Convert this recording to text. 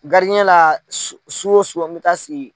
la su o su an mɛ taa sigi.